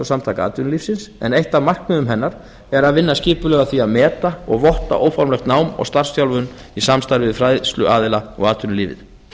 samtaka atvinnulífsins en eitt af markmiðum hennar er að vinna skipulega að því að meta og votta óformlegt nám og starfsþjálfun í samstarfi við fræðsluaðila og atvinnulífið